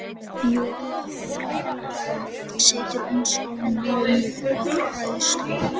Fjóla frænka situr eins og lömuð af hræðslu.